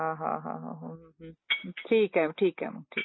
हां हां हां! हो .हम हम . ठीक आहे ठीक आहे तर मग